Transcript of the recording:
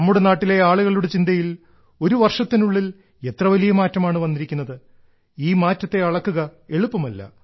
നമ്മുടെ നാട്ടിലെ ആളുകളുടെ ചിന്തയിൽ ഒരു വർഷത്തിനുള്ളിൽ എത്രവലിയ മാറ്റമാണ് വന്നിരിക്കുന്നത് ഈ മാറ്റത്തെ അളക്കുക എളുപ്പമല്ല